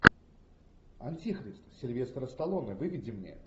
антихрист сильвестра сталлоне выведи мне